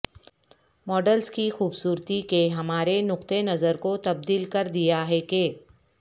models کی خوبصورتی کے ہمارے نقطہ نظر کو تبدیل کر دیا ہے کہ